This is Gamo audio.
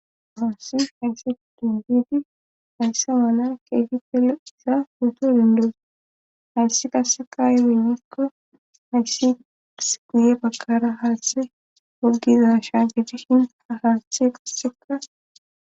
maassif hayssa difidi hayssa mana keefi tele isa puuto dindo hayssi qassekayewenyikko hayssi ddirs guye bagkara haashthe woggiza shaageti hin ahaashthe qasseka